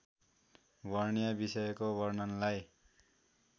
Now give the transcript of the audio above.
वर्ण्य विषयको वर्णनलाई